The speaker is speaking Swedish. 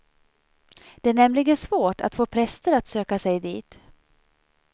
Det är nämligen svårt att få präster att söka sig dit.